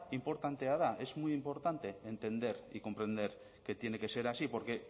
inportantea da es muy importante entender y comprender que tiene que ser así porque